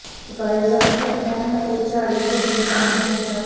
ਪਕਾਏ ਜਾਣ ਤੱਕ ਪੈਨ ਅਤੇ ਝਾੜੀ ਤੇ ਜਨਤਾ ਨੂੰ ਚਮਚਾਓ